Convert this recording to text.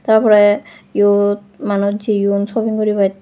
tar pore eyot manuj jayoung shopping goribat.